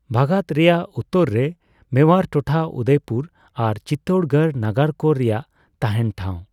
ᱵᱷᱟᱜᱟᱫ ᱨᱮᱭᱟᱜ ᱩᱛᱛᱟᱹᱨ ᱨᱮ ᱢᱮᱣᱟᱨ ᱴᱚᱴᱷᱟ, ᱩᱫᱚᱭᱯᱩᱨ ᱟᱨ ᱪᱤᱛᱛᱳᱲᱜᱚᱲ ᱱᱟᱜᱟᱨ ᱠᱚ ᱨᱮᱭᱟᱜ ᱛᱟᱦᱮᱸᱱ ᱴᱷᱟᱣ ᱾